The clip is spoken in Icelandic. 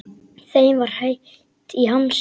Þeim var heitt í hamsi.